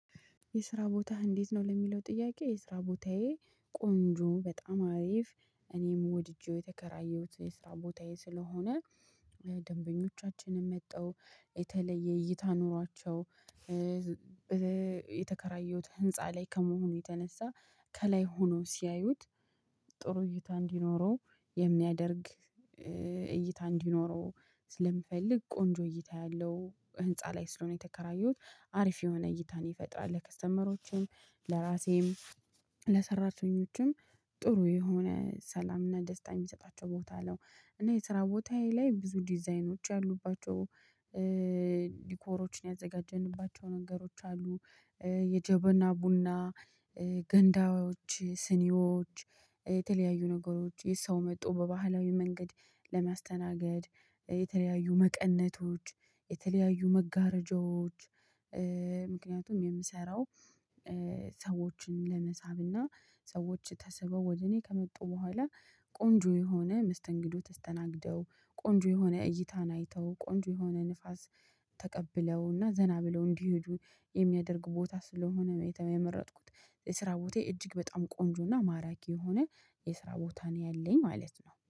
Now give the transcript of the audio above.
የስራ ቦታህ እንዴት ነው ለሚለው ጥያቄ የስራ ቦታዬ ቆንጆ በጣም አሪፍ። እኔም ወድጄው የተከራየሁት የስራ ቦታዬ ስለሆነ ደንበኞቻችንም መጥተው የተለየ እይታ ኑሯቸው። የተከራየሁት ህንፃ ላይ ከመሆኑ የተነሳ ከላይ ሆነው ሲያዩት ጥሩ እይታ እንዲኖረው የሚያደርግ እይታ እንዲኖረው ስለምፈልግ ቆንጆ እይታ ያለው ህንፃ ላይ ስለሆነ የተከራየሁት አሪፍ የሆነ እይታን ይፈጥራል ለከስተመሮችም ለራሴም ለሰራተኞቹም ጥሩ የሆነ ሰላምና ደስታ የሚሰጣቸው ቦታ ነው። እና የስራ ቦታዬ ላይ ብዙ ዲዛይኖች ያሉባቸው ዲኮሮችን ያዘጋጀንባቸው ነገሮች አሉ። የጀበና ቡና ገንዳዎች ስኒዎች የተለያዩ ነገሮች የሰው መጥቶ በባህላዊ መንገድ ለማስተናገድ የተለያዩ መቀነቶች የተለያዩ መጋረጃዎች። ምክንያቱም የምሰራው ሰዎችን ለመሳብና ሰዎች ተስበው ወደ እኔ ከመጡ በኋላ ቆንጆ የሆነ መስተንግዶ ተስተናግደው ቆንጆ የሆነ እይታን አይተው ቆንጆ የሆነ ንፋስ ተቀብለውና ዘና ብለው እንዲሄዱ የሚያደርግ ቦታ ስለሆነ ነው የመረጥኩት። የስራ ቦታዬ እጅግ በጣም ቆንጆና ማራኪ የሆነ የስራ ቦታ ነው ያለኝ ማለት ነው